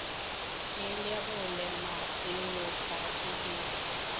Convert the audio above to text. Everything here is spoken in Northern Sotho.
la lerole mmase yokate di